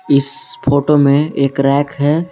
इस फोटो में एक रैक है।